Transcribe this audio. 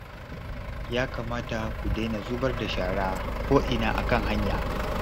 Ya kamata ku daina zubar da shara ko'ina a kan hanya